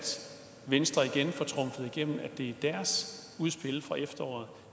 venstre igen får trumfet igen at det er deres udspil fra efteråret